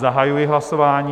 Zahajuji hlasování.